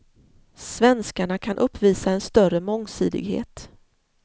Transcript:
Svenskarna kan uppvisa en större mångsidighet.